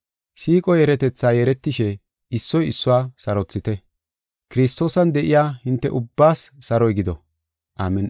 Siiqo yeeretetha yeeretishe, issoy issuwa sarothite. Kiristoosan de7iya hinte ubbaas saroy gido. Amin7i.